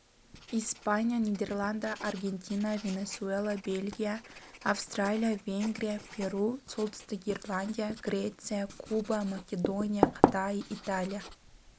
испания нидерланды аргентина венесуэла бельгия австралиа венгрия перу солтүстік ирландия греция куба македония қытай италия